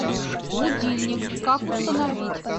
будильник как установить